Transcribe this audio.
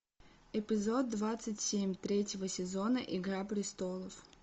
эпизод двадцать семь третьего сезона игра престолов